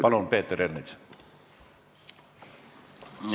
Palun, Peeter Ernits!